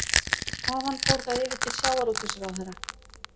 Þaðan fór það yfir til sjávarútvegsráðherra